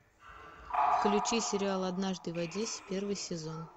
включи сериал однажды в одессе первый сезон